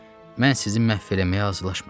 Mən sizi məhv eləməyə hazırlaşmıram.